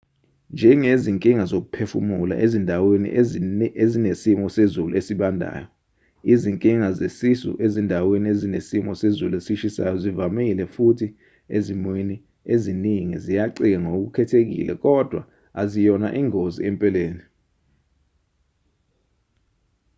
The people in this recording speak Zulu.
njengezinkinga zokuphefumula ezindaweni ezinesimo sezulu ezibandayo izinkinga zesisu ezindaweni ezinesimo sezulu esishisayo zivamile futhi ezimweni eziningi ziyacika ngokukhethekile kodwa aziyona ingozi empeleni